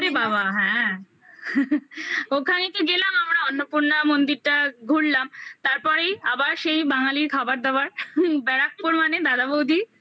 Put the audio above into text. ওরে বাবা হ্যাঁ ওখানে তো গেলাম আমরা অন্নপূর্ণা মন্দিরটা ঘুরলাম তারপরেই আবার সেই বাঙালির খাবার-দাবার ব্যারাকপুর মানে দাদা-বৌদি